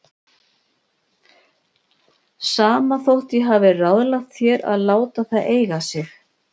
Sama þótt ég hafi ráðlagt þér að láta það eiga sig.